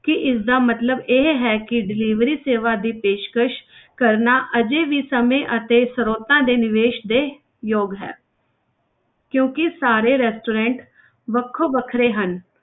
ਕੀ ਇਸਦਾ ਮਤਲਬ ਇਹ ਹੈ ਕਿ delivery ਸੇਵਾ ਦੀ ਪੇਸ਼ਕਸ ਕਰਨਾ ਹਜੇ ਵੀ ਸਮੇਂ ਅਤੇ ਸਰੋਤਾਂ ਦੇ ਨਿਵੇਸ ਦੇ ਯੋਗ ਹੈ ਕਿਉਂਕਿ ਸਾਰੇ restaurant ਵੱਖੋ ਵੱਖਰੇ ਹਨ।